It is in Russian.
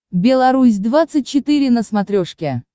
белорусь двадцать четыре на смотрешке